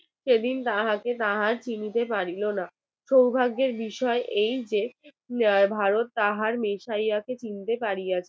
সেদিন তাহাকে চিনিতে পারিল না সৌভাগ্যের বিষয় এই যে ভারত তাহার কিনিতে পারি আছে